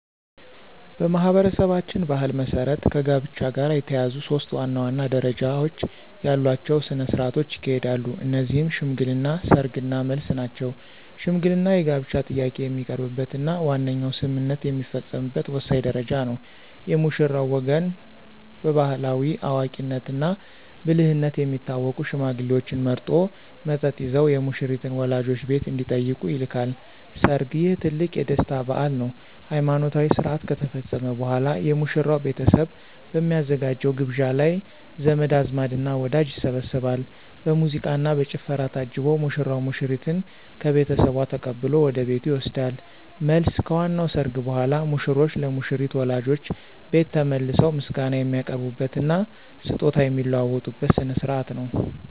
በማኅበረሰባችን ባሕል መሠረት ከጋብቻ ጋር የተያያዙ ሦስት ዋና ዋና ደረጃዎች ያሏቸው ሥነ ሥርዓቶች ይካሄዳሉ። እነዚህም ሽምግልና፣ ሰርግ እና መልስ ናቸው። ሽምግልና የጋብቻ ጥያቄ የሚቀርብበትና ዋነኛው ስምምነት የሚፈጸምበት ወሳኝ ደረጃ ነው። የሙሽራው ወገን በባሕላዊ አዋቂነትና ብልህነት የሚታወቁ ሽማግሌዎችን መርጦ፣ መጠጥ ይዘው የሙሽሪትን ወላጆች ቤት እንዲጠይቁ ይልካል። ሰርግ: ይህ ትልቁ የደስታ በዓል ነው። ሃይማኖታዊ ሥርዓት ከተፈጸመ በኋላ፣ የሙሽራው ቤተሰብ በሚያዘጋጀው ግብዣ ላይ ዘመድ አዝማድና ወዳጅ ይሰባሰባል። በሙዚቃና በጭፈራ ታጅቦ ሙሽራው ሙሽሪትን ከቤተሰቧ ተቀብሎ ወደ ቤቱ ይወስዳል። መልስ: ከዋናው ሰርግ በኋላ፣ ሙሽሮች ለሙሽሪት ወላጆች ቤት ተመልሰው ምስጋና የሚያቀርቡበትና ስጦታ የሚለዋወጡበት ሥነ ሥርዓት ነው።